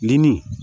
Lenmuru